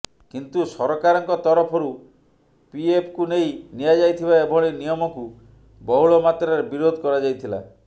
କିନ୍ତୁ ସରକାରଙ୍କ ତରଫରୁ ପିଏଫକୁ ନେଇ ନିଆଯାଇଥିବା ଏଭଳି ନିୟମକୁ ବହୁଳମାତ୍ରାରେ ବିରୋଧ କରାଯାଇଥିଲା